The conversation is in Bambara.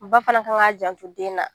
Ba fana kan k'a janto den na